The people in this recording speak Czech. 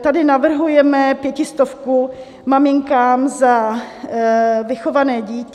tady navrhujeme pětistovku maminkám za vychované dítě.